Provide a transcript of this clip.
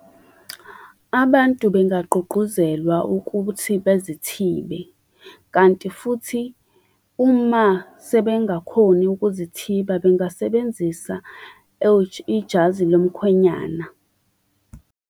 Abantu bengagqugquzelwa ukuthi bezithibe. Kanti futhi uma sebengakhoni ukuzithiba, bengasebenzisa ijazi lomkhwenyana.